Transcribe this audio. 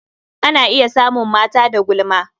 A na iya samun mata da gulma.